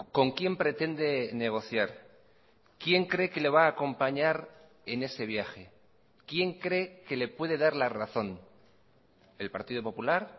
con quién pretende negociar quién cree que le va a acompañar en ese viaje quién cree que le puede dar la razón el partido popular